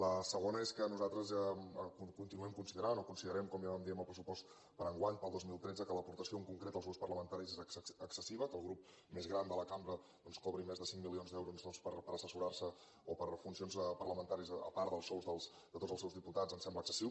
la segona és que nosaltres continuem considerant o considerem com ja vam dir en el pressupost per a enguany per al dos mil tretze que l’aportació en concret als grups parlamentaris és excessiva que el grup més gran de la cambra doncs cobri més de cinc milions d’euros per assessorar se o per a funcions parlamentàries a part dels sous de tots els seus diputats ens sembla excessiu